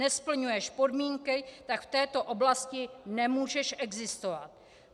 Nesplňuješ podmínky, tak v této oblasti nemůžeš existovat.